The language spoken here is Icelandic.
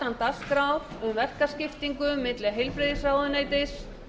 umræða utan dagskrár um verkaskiptingu milli heilbrigðisráðuneytis